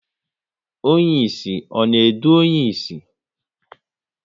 Onye ịsị ọ na edu onye ịsị?